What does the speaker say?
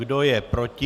Kdo je proti?